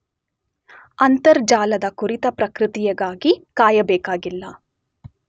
ಅಂತರ್ಜಾಲದ ಕುರಿತ ಪ್ರತಿಕ್ರಿಯೆಗಾಗಿ ಕಾಯಬೇಕಿಲ್ಲ